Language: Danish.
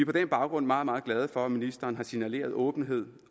på den baggrund meget meget glade for at ministeren har signaleret åbenhed